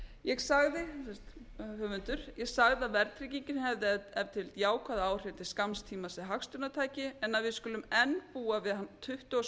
ég sagði að verðtryggingin hefði ef til vill jákvæð áhrif til skamms tíma sem hagstjórnartæki en að við skulum enn búa við hana tuttugu og